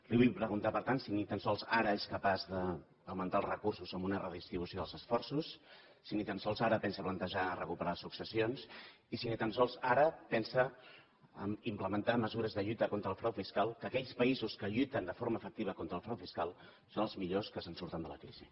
li vull preguntar per tant si ni tan sols ara és capaç d’augmentar els recursos amb una redistribució dels esforços si ni tan sols ara pensa plantejar recuperar successions i si ni tan sols ara pensa implementar mesures de lluita contra el frau fiscal que aquells països que lluiten de forma efectiva contra el frau fiscal són els millors que se’n surten de la crisi